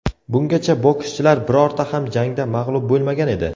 Bungacha bokschilar birorta ham jangda mag‘lub bo‘lmagan edi.